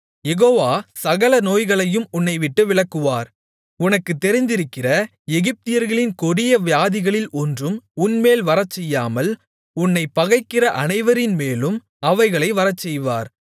யெகோவா சகல நோய்களையும் உன்னை விட்டு விலக்குவார் உனக்குத் தெரிந்திருக்கிற எகிப்தியர்களின் கொடிய வியாதிகளில் ஒன்றும் உன்மேல் வரச்செய்யாமல் உன்னைப் பகைக்கிற அனைவரின்மேலும் அவைகளை வரச்செய்வார்